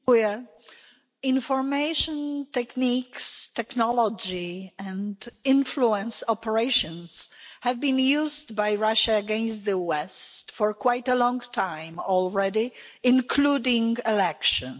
Mr President, information techniques, technology and influence operations have been used by Russia against the West for quite a long time already, including in elections.